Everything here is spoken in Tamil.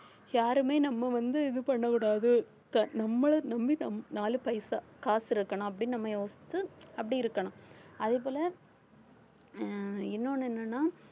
யாருமே நம்ம வந்து இது பண்ணக்கூடாது நம்மளை நம்பி நம்~ நாலு பைசா காசு இருக்கணும் அப்படின்னு நம்ம யோசிச்சு அப்படி இருக்கணும் அதே போல உம் இன்னொன்னு என்னன்னா